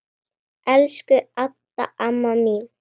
Elsku Adda amma mín.